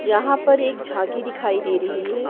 यहाँ पर एक झांकी दिखाई दे रही है।